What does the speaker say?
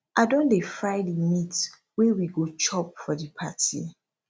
i don dey fry di meat wey we go chop for di party